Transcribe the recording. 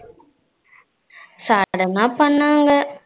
சாதரணம பண்ணாங்க.